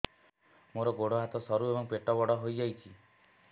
ମୋର ଗୋଡ ହାତ ସରୁ ଏବଂ ପେଟ ବଡ଼ ହୋଇଯାଇଛି